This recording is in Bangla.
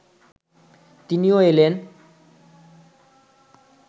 তিনিও এলেন